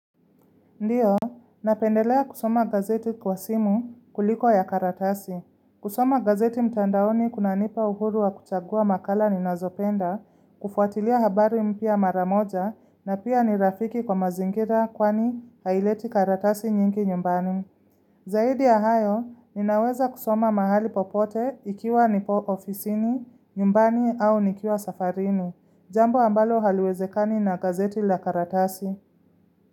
Ndiyo, napendelea kusoma gazeti kwa simu kuliko ya karatasi. Kusoma gazeti mtandaoni kunanipa uhuru wa kuchagua makala ninazopenda, kufuatilia habari mpya mara moja na pia ni rafiki kwa mazingira kwani haileti karatasi nyingi nyumbani. Zaidi ya hayo, ninaweza kusoma mahali popote ikiwa nipo ofisini, nyumbani au nikiwa safarini. Jambo ambalo haliwezekani na gazeti la karatasi.